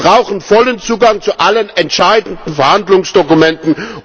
Wir brauchen vollen Zugang zu allen entscheidenden Verhandlungsdokumenten.